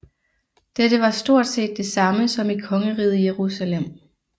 Dette var stort set det samme som i Kongeriget Jerusalem